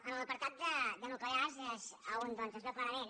en l’apartat de nuclears és on doncs es veu clarament